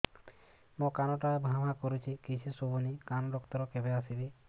ମୋ କାନ ଟା ଭାଁ ଭାଁ କରୁଛି କିଛି ଶୁଭୁନି କାନ ଡକ୍ଟର କେବେ ଆସିବେ